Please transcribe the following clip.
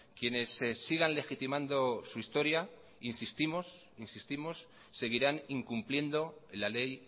quienes sigan legitimando su historia insistimos seguirán incumpliendo la ley